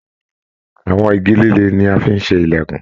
Àwọn igi líle ní a fí n ṣe ilẹkùn.